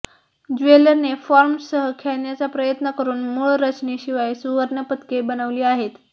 ज्वेलरने फॉर्मसह खेळण्याचा प्रयत्न करून मूळ रचनेशिवाय सुवर्णपदके बनविली आहेत